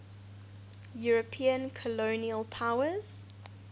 european colonial powers